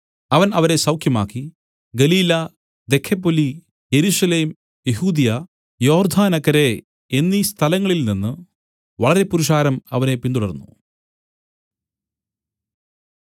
അവൻ അവരെ സൌഖ്യമാക്കി ഗലീല ദെക്കപ്പൊലി യെരൂശലേം യെഹൂദ്യ യോർദ്ദാനക്കരെ എന്നീ സ്ഥലങ്ങളിൽ നിന്നു വളരെ പുരുഷാരം അവനെ പിന്തുടർന്നു